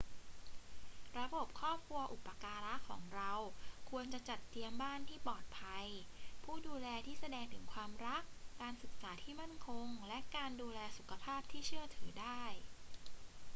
ระบบครอบครัวอุปการะของเราควรจะจัดเตรียมบ้านที่ปลอดภัย ผู้ดูแลที่แสดงถึงความรัก การศึกษาที่มั่นคง และการดูแลสุขภาพที่เชื่อถือได้